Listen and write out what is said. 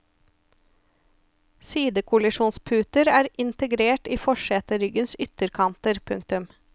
Sidekollisjonsputer er integrert i forseteryggenes ytterkanter. punktum